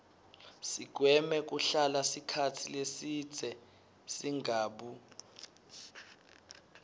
sigweme kuhlala sikhatsi lesibze singabu